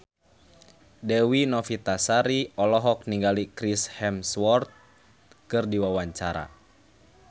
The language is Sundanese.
Dewi Novitasari olohok ningali Chris Hemsworth keur diwawancara